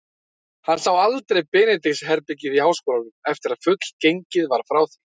Hann sá aldrei Benedikts-herbergið í háskólanum, eftir að fullgengið var frá því.